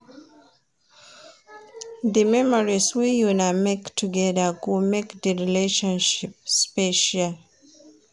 Di memories wey una make togeda go make di relationship special.